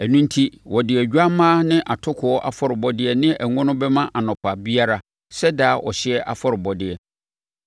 Ɛno enti wɔde odwammaa ne atokoɔ afɔrebɔdeɛ ne ngo no bɛma anɔpa biara sɛ daa ɔhyeɛ afɔrebɔdeɛ.